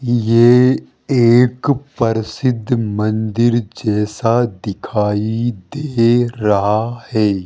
ये एक प्रसिद्ध मंदिर जैसा दिखाई दे रहा है।